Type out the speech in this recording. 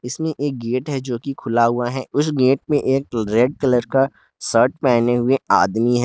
इसमें एक गेट है जो कि खुला हुआ है उस गेट पे एक जो रेड कलर का सर्ट पहने हुए आदमी है।